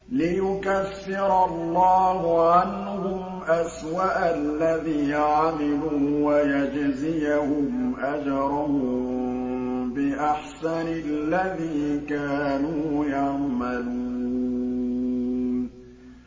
لِيُكَفِّرَ اللَّهُ عَنْهُمْ أَسْوَأَ الَّذِي عَمِلُوا وَيَجْزِيَهُمْ أَجْرَهُم بِأَحْسَنِ الَّذِي كَانُوا يَعْمَلُونَ